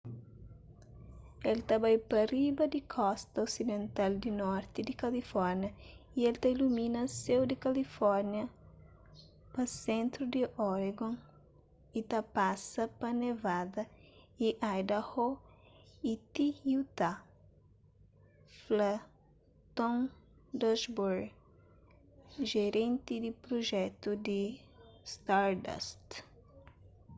el ta bai pa riba di kosta osidental di norti di kalifórnia y el ta ilumina séu di kalifórnia pa sentru di oregon y ta pasa pa nevada y idaho y ti utah fla tom duxbury jerenti di prujetu di stardust